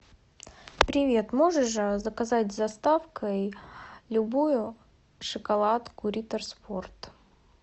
привет можешь заказать с доставкой любую шоколадку риттер спорт